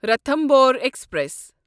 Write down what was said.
Ranthambore express